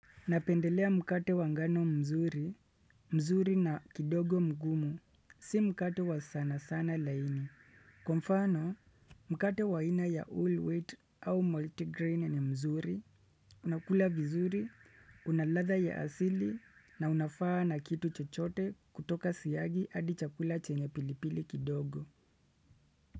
Napendelea mkate wangano mzuri, mzuri na kidogo mgumu, si mkate wa sana sana laini. Kwa mfano, mkate wa aina ya all wheat au multigrain ni mzuri, unakula vizuri, unaladha ya asili na unafa na kitu chochote kutoka siyagi adi chakula chenye pilipili kidogo.